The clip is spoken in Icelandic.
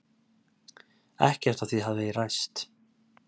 Ekkert af því hafi ræst.